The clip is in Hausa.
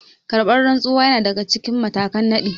Karɓar rantsuwa yana daga cikin matakan nadi